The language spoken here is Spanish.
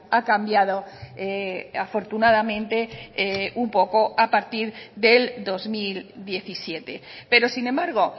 ha cambiado afortunadamente un poco a partir del dos mil diecisiete pero sin embargo